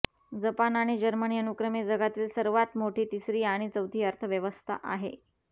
Japan आणि Germany अनुक्रमे जगातील सर्वात मोठी तिसरी आणि चौथी अर्थव्यवस्था आहे